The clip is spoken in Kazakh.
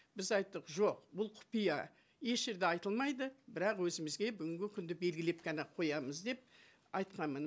біз айттық жоқ бұл құпия еш жерде айтылмайды бірақ өзімізге бүгінгі күнді белгілеп қана қоямыз деп айтқанмын